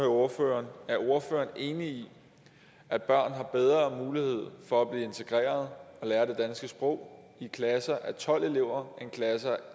ordføreren er ordføreren enig i at børn har bedre mulighed for at blive integreret og lære dansk sprog i klasser af tolv elever end i klasser